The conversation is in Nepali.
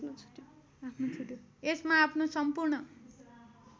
यसमा आफ्नो सम्पूर्ण